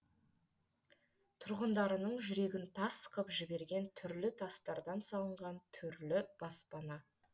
тұрғындарының жүрегін тас қып жіберген түрлі тастардан салынған түрлі баспана